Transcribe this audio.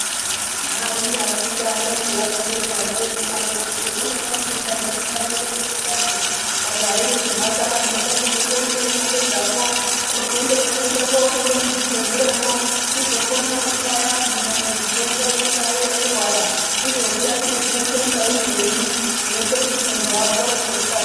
Neeanony afunda peyani nenguwa imweni unodaro kuti emunya ndofunda, emuno tsamwira kufundazvo majaya imwi nemhandara munoda kuzo mboitei mwapedzepo unondozwa toda kooshanda muzvibbhedhleramwo tizokona nekubaya andu naitidzo eiuya nekurwara tizoziya kuti dzinoitwa mubairwenyi zvinoita kuti mundu apore ngekukasira.